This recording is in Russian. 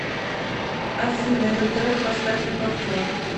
афина этот трек поставь на повтор